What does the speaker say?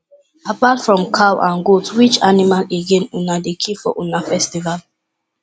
apart from cow and goat which animal again una dey kill for una festival